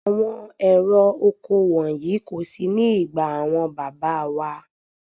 Àwọn ẹ̀rọ oko wọ̀nyí kò sí ní ìgbà àwọn bàbá wá.